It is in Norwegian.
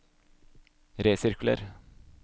resirkuler